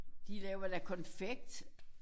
De laver da konfekt